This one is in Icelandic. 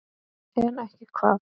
En ekki hvað?